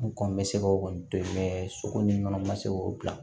N kɔn bɛ se ka o kɔni to yen soko ni kɔnɔ ma se k'o bila